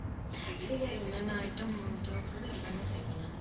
என்னென்ன item தேவைப்படுதோ எல்லாமே செய்வேன் நானு